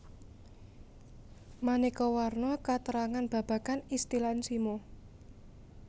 Maneka warna katrangan babagan istilan simo